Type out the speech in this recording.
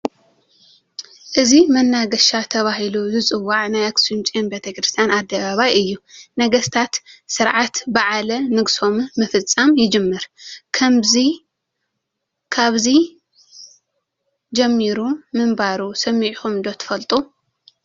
እዚ መናገሻ ተባሂሉ ዝፅዋዕ ናይ ኣኽሱም ጽዮን ቤተ ክርስቲያን ኣደባባይ እዩ፡፡ ነገስታት ስርዓት በዓለ ንግሶም ምፍፃም ይጅምር ካብዚ ጀሚሩ ምንባሩ ሰሚዕኹም ዶ ትፈልጡ?